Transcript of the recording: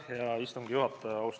Hea istungi juhataja!